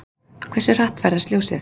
Hversu hratt ferðast ljósið?